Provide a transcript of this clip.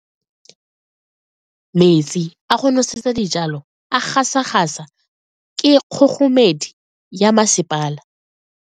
Metsi a go nosetsa dijalo a gasa gasa ke kgogomedi ya masepala.